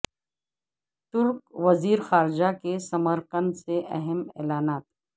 ترک وزیر خارجہ کے ثمر قند سے اہم اعلانات